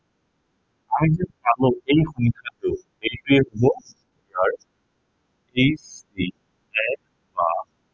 এই সংখ্য়াটো, এইটোৱেই হব তাৰ HCF বা